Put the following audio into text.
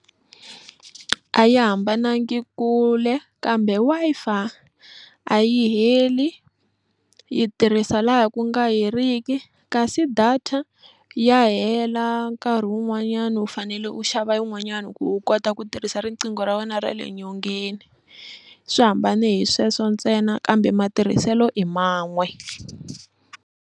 A yi hambanangi kule kambe Wi-Fi a yi heli yi tirhisa laha ku nga heriki kasi data ya hela nkarhi wun'wanyani u fanele u xava yin'wanyani ku u kota ku tirhisa riqingho ra wena ra le nyongeni swi hambane hi sweswo ntsena kambe matirhiselo i man'we.